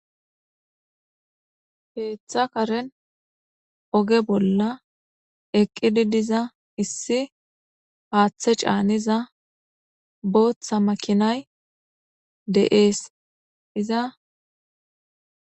Keeththa karen oge bolla eqqidi diza issi haaththe caaniza booththa makinay de7ees iza